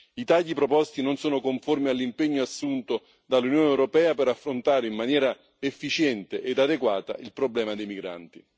I tagli proposti non sono conformi all'impegno assunto dall'Unione europea di affrontare in maniera efficiente ed adeguata il problema dei migranti.